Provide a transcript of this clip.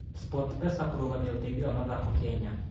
SportPesa kũrũgamia ũteithio wa mathako Kenya